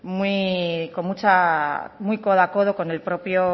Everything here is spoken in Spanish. muy con mucha muy codo a codo con el propio